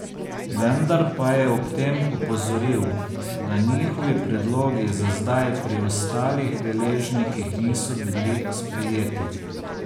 Vendar pa je ob tem opozoril, da njihovi predlogi za zdaj pri ostalih deležnikih niso bili sprejeti.